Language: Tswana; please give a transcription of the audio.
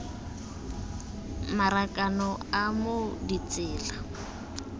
marakanelo a t moo ditsela